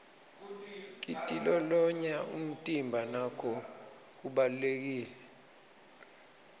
kitilolonya umtimba nako kubalulekile